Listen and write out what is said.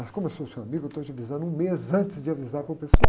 Mas como eu sou seu amigo, eu estou te avisando um mês antes de avisar para o pessoal.